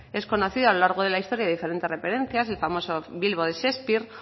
es conocido a lo largo de la historia diferentes referencias el famoso bilbo de shakespeare